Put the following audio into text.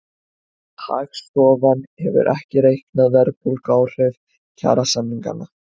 Hagstofan hefur ekki reiknað verðbólguáhrif kjarasamninganna